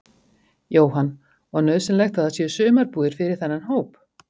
Jóhann: Og nauðsynlegt að það séu sumarbúðir fyrir þennan hóp?